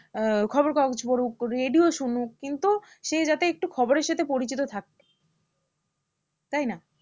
আহ খবর কাগজ পড়ুক radio শুনুক কিন্তু সে যাতে একটু খবরের সাথে পরিচিত থাকে তাই না?